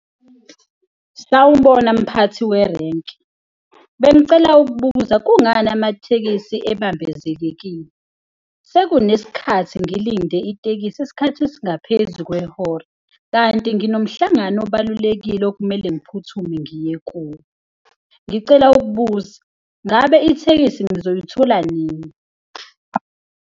Sawubona mphathi werenki, bengicela ukubuza kungani amathekisi ebambezekekile? Sekunesikhathi ngilinde itekisi isikhathi esingaphezu kwehora kanti nginomhlangano obalulekile okumele ngiphuthume ngiye kuwo. Ngicela ukubuza, ngabe ithekisi ngizoyithola nini?